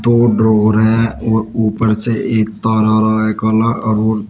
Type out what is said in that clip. और ड्रॉवर है और ऊपर से एक तार आ रहा है काला और--